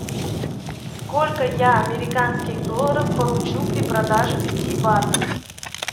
сколько я американских долларов получу при продаже пяти батов